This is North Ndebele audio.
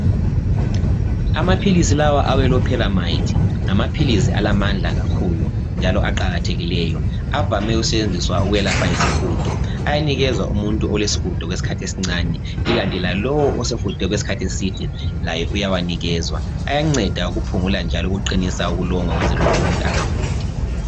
Amaphilisi lawa awe 'Loperamide' ngamaphilizi alamandla kakhulu njalo aqakathekileyo, avame ukusetshenziswa ukwelapha isihudo, ayanikezwa umuntu olesihudo okwesikhathi esincane ikanti lalowo osehude okwesikhathi eside laye uyawanikezwa. Ayanceda ukuphungula njalo ayaqinisa ubulongwe ukwenzela ukuthi umuntu engahudi.